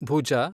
ಭುಜ